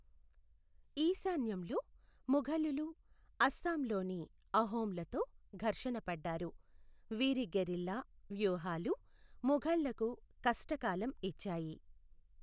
ఈశాన్యంలో, ముఘలులు అస్సాంలోని అహోమ్లతో ఘర్షణ పడ్డారు, వీరి గెరిల్లా వ్యూహాలు ముఘల్లకు కష్టకాలం ఇచ్చాయి.